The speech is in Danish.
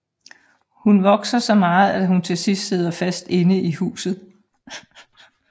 Hun vokser så meget at hun til sidst sidder fast inde i huset